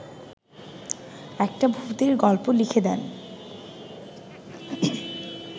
একটা ভূতের গল্প লিখে দেন